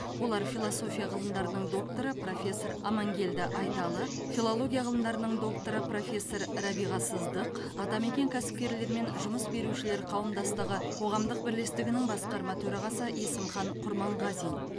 олар философия ғылымдарының докторы профессор амангелді айталы филология ғылымдарының докторы профессор рәбиға сыздық атамекен кәсіпкерлер мен жұмыс берушілер қауымдастығы қоғамдық бірлестігінің басқарма төрағасы есімхан құрманғазин